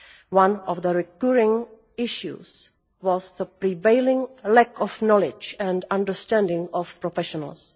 One of the recurring issues was the prevailing lack of knowledge and understanding of professionals.